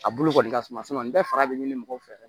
A bulu kɔni ka suma nin bɛɛ fara bɛ ɲini mɔgɔw fɛ